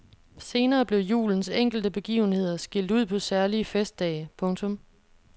Senere blev julens enkelte begivenheder skilt ud på særlige festdage. punktum